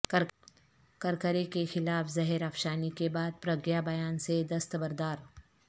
کرکرے کیخلاف زہر افشانی کے بعد پرگیہ بیان سے دستبردار